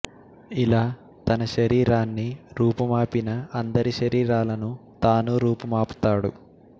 ఇలా తన శరీరాన్ని రూపుమాపిన అందరి శరీరాలను తానూ రూపుమపుతాడు